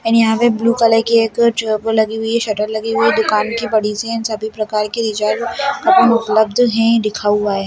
एंड यहाँ पे blue colour की एक च वो लगी हुई है शटर लगी हुई दुकान की बड़ी सी एंड सभी प्रकार की रिचार्ज उपलब्ध है लिखा हुआ है।